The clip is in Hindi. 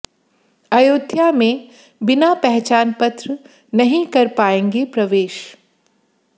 अयोध्या में बिना पहचान पत्र नहीं कर पाएंगे प्रवेश